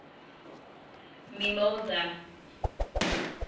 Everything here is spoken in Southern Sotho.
mimosa